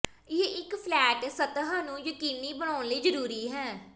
ਇਹ ਇੱਕ ਫਲੈਟ ਸਤਹ ਨੂੰ ਯਕੀਨੀ ਬਣਾਉਣ ਲਈ ਜ਼ਰੂਰੀ ਹੈ